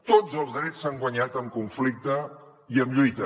tots els drets s’han guanyat amb conflicte i amb lluita